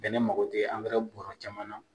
Bɛnɛ mago tɛ bɔɔrɔ caman na.